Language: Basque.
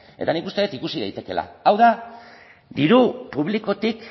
eta nik uste dut ikusi daitekeela hau da diru publikotik